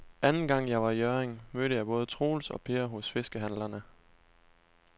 Anden gang jeg var i Hjørring, mødte jeg både Troels og Per hos fiskehandlerne.